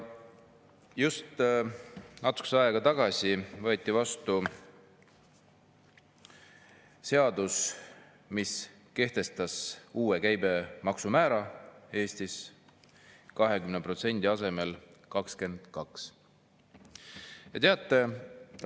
Natukene aega tagasi võeti vastu seadus, mis kehtestab Eestis uue käibemaksu määra: 20% asemel 22%.